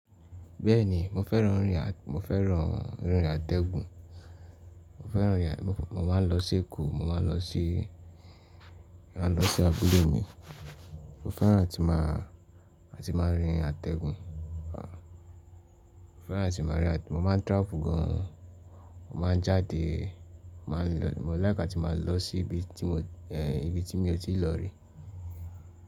Bẹ́ẹ̀ni mo fẹ́ràn rìn, mo fẹ́ràn rí àtẹ́gùn, mo fẹ́ràn rìn, mo máa ń lọ sí Èkó, mo máa ń lọ sí, máa ń lọ sí abúlé mi. Mo fẹ́ràn tí máa, láti máa rín àtẹ́gùn, mo fẹ́ràn láti máa rìn, mo máa ń travel gan an, mo máa ń jáde, máa ń lọ, mo like atí máa lọ sí ibi tí mo, ibi tí mi ò tíì lọ rí.